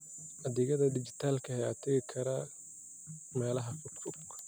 Adeegyada dhijitaalka ah ayaa taageeri kara meelaha fogfog.